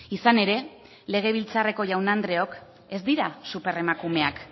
izan ere legebiltzarreko jaun andreok ez dira superemakumeak